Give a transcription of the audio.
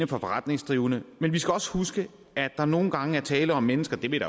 forretningsdrivende men vi skal også huske at der nogle gange er tale om mennesker det vil